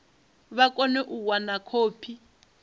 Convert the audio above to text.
vha kone u wana khophi